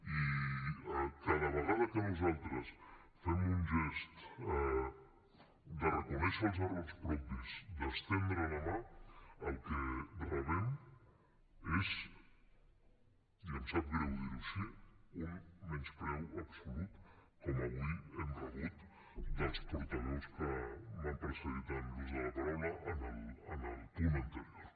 i cada vegada que nosaltres fem un gest de reconèixer els errors propis d’estendre la mà el que rebem és i em sap greu dir ho així un menyspreu absolut com avui hem rebut dels portaveus que m’han precedit en l’ús de la paraula en el punt anterior